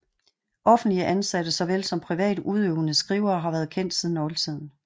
Offentlig ansatte såvel som privat udøvende skrivere har været kendt siden oldtiden